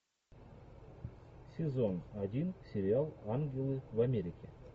сезон один сериал ангелы в америке